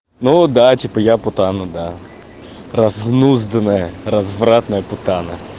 ну да типа я путану да разнузданное развратная путана